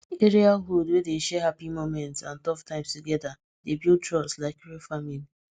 area hood wey dey share happy moments and tough times together dey build trust like real family